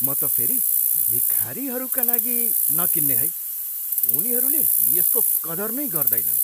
म त फेरि भिखारीहरूका लागि नकिन्ने है। उनीहरूले यसको कदर नै गर्दैनन्।